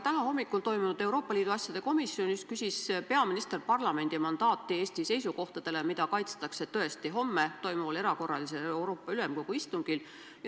Täna hommikul toimunud Euroopa Liidu asjade komisjoni istungil küsis peaminister parlamendi mandaati Eesti seisukohtadele, mida kaitstakse homme toimuval erakorralisel Euroopa Ülemkogu istungil.